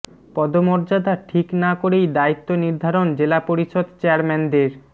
পদমর্যাদা ঠিক না করেই দায়িত্ব নির্ধারণ জেলা পরিষদ চেয়ারম্যানদের